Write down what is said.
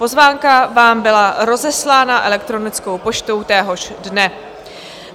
Pozvánka vám byla rozeslána elektronickou poštou téhož dne.